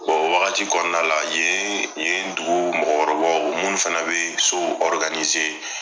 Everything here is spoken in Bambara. o wagati kɔnɔna la yen yen dugu mɔgɔkɔrɔbaw munnu fana bɛ sow